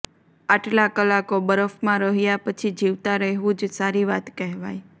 આટલા કલાકો બરફમાં રહ્યા પછી જીવતા રહેવું જ સારી વાત કહેવાય